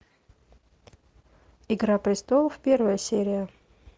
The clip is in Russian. игра престолов первая серия